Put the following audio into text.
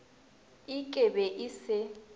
ik e be e se